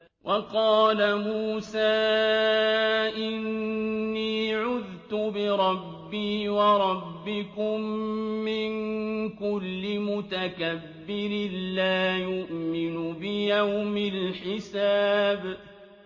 وَقَالَ مُوسَىٰ إِنِّي عُذْتُ بِرَبِّي وَرَبِّكُم مِّن كُلِّ مُتَكَبِّرٍ لَّا يُؤْمِنُ بِيَوْمِ الْحِسَابِ